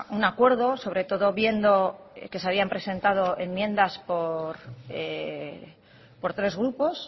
un acuerdo sobre todo viendo que se habían presentado enmiendas por tres grupos